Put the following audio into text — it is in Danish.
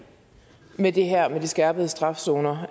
med skærpet straf zoner